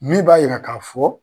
Min b'a yira k'a fɔ